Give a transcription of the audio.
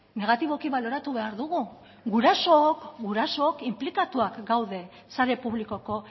negatiboki baloratu behar dugu gurasook inplikatuak gaude sare publikoko